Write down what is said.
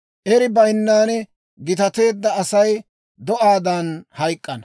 Eri bayinnan gitateedda Asay do'aadan hayk'k'ana.